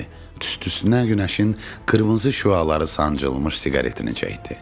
Tüstüsünə günəşin qırmızı şüaları sancılmış siqaretini çəkdi.